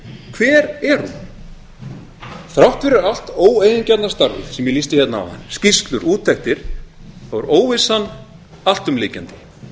hver er hún þrátt fyrir allt óeigingjarna starfið sem ég lýsti hérna áðan skýrslur úttektir er óvissan alltumlykjandi